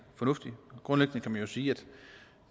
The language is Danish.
fornuftigt grundlæggende kan man sige at